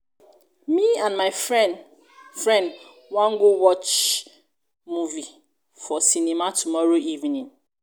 me and my friend friend wan go watch movie for cinema tomorrow evening